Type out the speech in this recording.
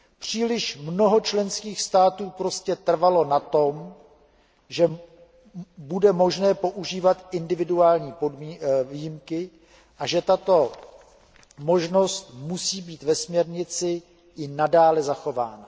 Příliš mnoho členských států prostě trvalo na tom, že bude možné používat individuální výjimky a že tato možnost musí být ve směrnici i nadále zachována.